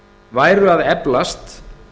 væru að eflast